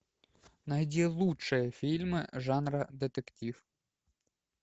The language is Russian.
найди лучшие фильмы жанра детектив